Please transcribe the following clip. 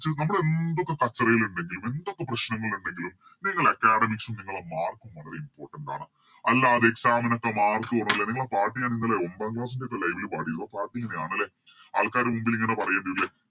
നമ്മളെന്തൊക്കെ കച്ചറയിലിണ്ടെങ്കിലും എന്തൊക്കെ പ്രശ്നങ്ങളിണ്ടെങ്കിലും നിങ്ങളെ Academics ല് നിങ്ങളെ Mark വളരെ Important ആണ് അല്ലാതെ Exam ന് എത്ര Mark വേണല്ലേ നിങ്ങളെ പാട്ട് ഞാനിന്നലെ ഒൻപതാം Class ൻറെ Live ല് പാടിതാ ലെ ആൾക്കാരെ മുന്നില് ഇങ്ങനെ പറയും